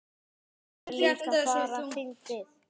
Það er líka bara fyndið.